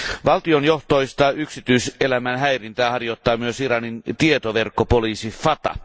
Valtionjohtoista yksityiselämän häirintää harjoittaa myös Iranin tietoverkkopoliisi Fata.